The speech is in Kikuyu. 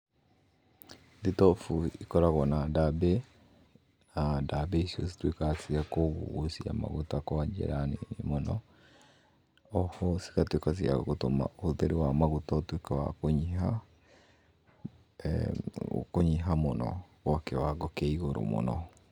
Thitobu ikoragwo na ndambĩ na ndambĩ icio cituĩkaga cia kũgucia maguta kwa njĩra motho. Oho cigatuĩka cia gũtuĩka ũtheru wa maguta ũtuĩke wa kũnyiha ee kũnyiha mũno o kĩwango kĩa ĩgũrũ mũno.